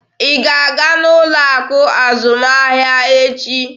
Ị ga-aga n'ụlọ akụ azụmahịa echi!